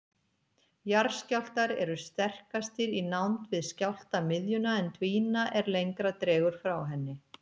Jarðskjálftar eru sterkastir í nánd við skjálftamiðjuna en dvína er lengra dregur frá henni.